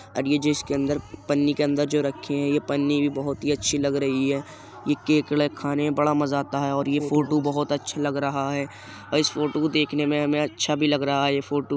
और ये जो इसके अंदर पन्नी के अंदर जो रखे हैं। ये पन्नी भी बोहोत ही अच्छी लग रही है। ये केकड़ा खाने में बड़ा मजा आता है और ये फोटो बोहोत अच्छा लग रहा है और इस फोटो को देखने में हमें अच्छा भी लग रहा है। ये फोटो --